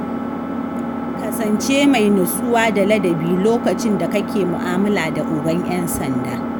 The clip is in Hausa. Kasance mai nutsuwa da ladabi lokacin da kake mu'amala da ogan 'yan sanda.